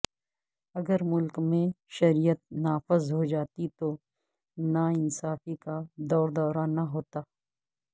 اگر ملک میں شریعت نافذ ہوجاتی تو ناانصافی کا دور دورہ نہ ہوتا